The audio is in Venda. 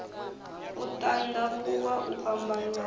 u tandavhuwa u fhambanya ha